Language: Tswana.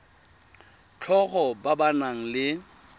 tlhago ba ba nang le